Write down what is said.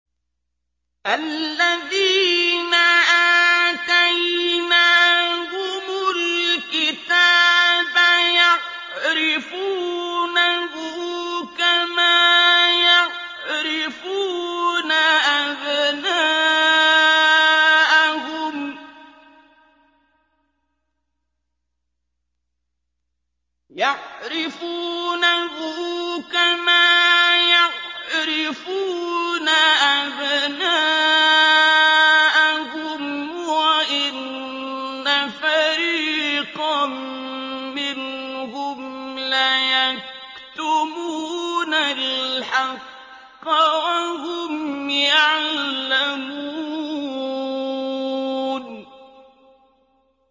الَّذِينَ آتَيْنَاهُمُ الْكِتَابَ يَعْرِفُونَهُ كَمَا يَعْرِفُونَ أَبْنَاءَهُمْ ۖ وَإِنَّ فَرِيقًا مِّنْهُمْ لَيَكْتُمُونَ الْحَقَّ وَهُمْ يَعْلَمُونَ